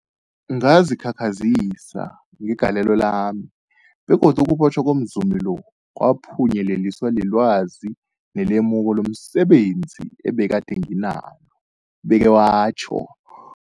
Ngazikhakhazisa ngegalelo lami, begodu ukubotjhwa komzumi lo kwaphunyeleliswa lilwazi nelemuko lomse benzi ebegade nginalo, ubeke watjho.